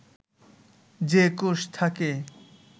যে কোষ থাকে